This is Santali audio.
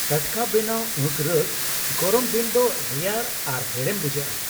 ᱴᱟᱴᱠᱟ ᱵᱮᱱᱟᱣ ᱟᱸᱠᱷ ᱨᱚᱥ ᱜᱚᱨᱚᱢ ᱫᱤᱱ ᱨᱮ ᱫᱚ ᱨᱮᱭᱟᱲ ᱟᱨ ᱦᱮᱲᱮᱢ ᱵᱩᱡᱷᱟᱹᱜᱼᱟ ᱾